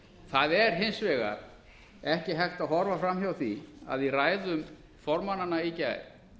það er hins vegar ekki hægt að horfa framhjá því að í ræðum formannanna í gær